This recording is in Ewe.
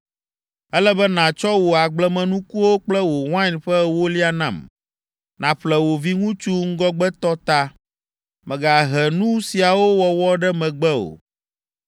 “Ele be nàtsɔ wò agblemenukuwo kple wò wain ƒe ewolia nam. “Nàƒle wò viŋutsuvi ŋgɔgbetɔ ta. Mègahe nu siawo wɔwɔ ɖe megbe o.